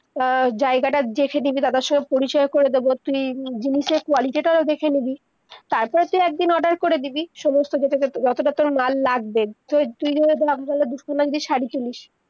আহ জায়গা তা দেখে নিবি দাদার সঙ্গে পরিচয় করে দেবো তুই জিনিসের quality তাও দেখে নিবি, তার পর তুই একদিন অর্ডার করে দিবি সমস্ত যত তা তর মাল লাগবে তুই শাড়ি কিনিস-